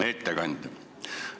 Hea ettekandja!